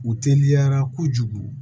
U teliyara kojugu